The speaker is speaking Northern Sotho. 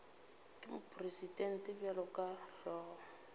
ke mopresidente bjalo ka hlogo